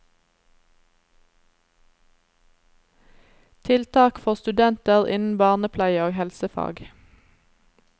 Tiltak for studenter innen barnepleie og helsefag.